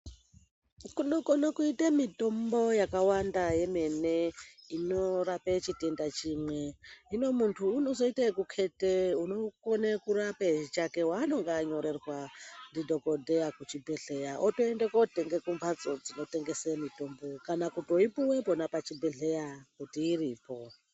Kunokone kuite mutombo yakawanda yemene inorape chitenda chimwe hino muntu unozoite ekuketa unokone kurape chake waanenge anyorerwa ndidhokodheya kuchibhedhleya otoende kotenge kotenge kumhatso dzinotengese mutombo kana kutoipuwe pona pachibhedhleya kuti iripo.